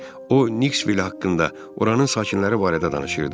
O Niksvil haqqında, oranı sakinləri barədə danışırdı.